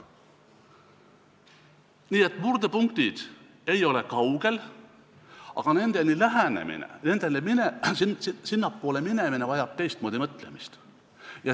Nii et murdepunktid ei ole kaugel, aga nendele lähenemine, sinnapoole minemine vajab teistmoodi mõtlemist.